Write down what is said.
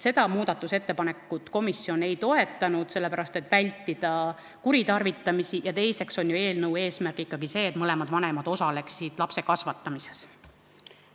Seda muudatusettepanekut komisjon ei toetanud, selleks et vältida kuritarvitamisi, ja teiseks on eelnõu eesmärk ikkagi see, et mõlemad vanemad lapse kasvatamises osaleksid.